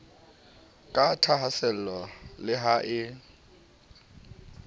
ka thahaasello le ha e